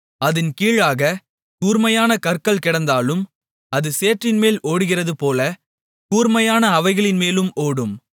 அதின் கீழாகக் கூர்மையான கற்கள் கிடந்தாலும் அது சேற்றின்மேல் ஓடுகிறதுபோல கூர்மையான அவைகளின்மேலும் ஓடும்